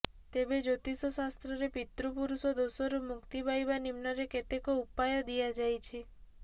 ତେବେ ଜ୍ୟୋତିଷ ଶାସ୍ତ୍ରରେ ପିତୃପୁରୁଷ ଦୋଷରୁ ମୁକ୍ତି ପାଇଁ ନିମ୍ନରେ କେତେକ ଉପାୟ ଦିଆଯାଇଛି